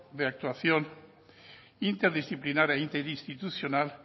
de actuación interdisciplinar e interinstitucional